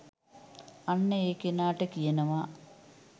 අන්න ඒ කෙනාට කියනවා